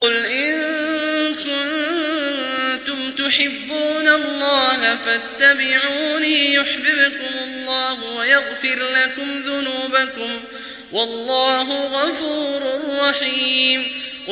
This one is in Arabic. قُلْ إِن كُنتُمْ تُحِبُّونَ اللَّهَ فَاتَّبِعُونِي يُحْبِبْكُمُ اللَّهُ وَيَغْفِرْ لَكُمْ ذُنُوبَكُمْ ۗ وَاللَّهُ غَفُورٌ رَّحِيمٌ